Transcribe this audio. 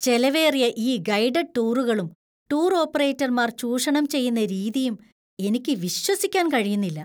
ചെലവേറിയ ഈ ഗൈഡഡ് ടൂറുകളും .ടൂർ ഓപ്പറേറ്റർമാര്‍ ചൂഷണം ചെയ്യുന്ന രീതിയും എനിക്ക് വിശ്വസിക്കാൻ കഴിയുന്നില്ല.